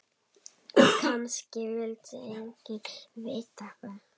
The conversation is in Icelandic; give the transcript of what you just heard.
Kannski vildi enginn vita það.